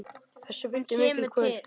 Þessu fylgdi mikil kvöl.